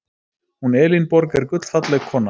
Hún Elínborg er gullfalleg kona.